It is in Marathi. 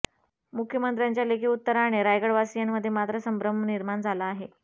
मुख्यमंत्र्यांच्या लेखी उत्तराने रायगडवासीयांमध्ये मात्र संभ्रम निर्माण झाला आहे